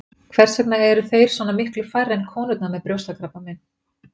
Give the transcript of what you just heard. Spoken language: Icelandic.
Hvers vegna eru þeir svona miklu færri en konurnar með brjóstakrabbamein?